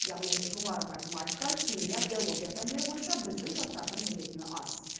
яғни жоғары математика химия биология пәндері бойынша біздің жастардың білетіні аз